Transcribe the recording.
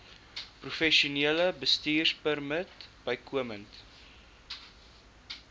professionele bestuurpermit bykomend